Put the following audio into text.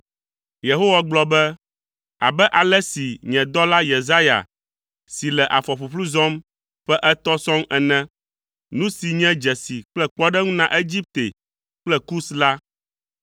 Yehowa gblɔ be, “Abe ale si nye dɔla Yesaya si le afɔ ƒuƒlu zɔm ƒe etɔ̃ sɔŋ ene, nu si nye dzesi kple kpɔɖeŋu na Egipte kple Kus la,